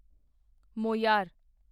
Moir